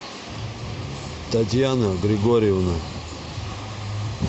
татьяна григорьевна